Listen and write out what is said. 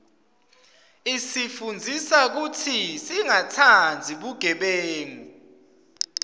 isifundzisa kutsi singatsandzi bugebengu